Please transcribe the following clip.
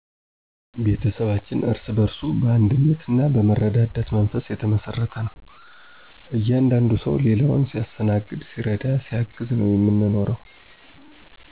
ቤተሰባችን እርስ በእርሱ በአንድነት ና መረዳዳት መንፈስ የተመሰረተ ነው። እያንዳንዱ ሰው ሌላውን ሲያስተናግድ ሲረዳ ሲያግዝ ነው የምንኖረው።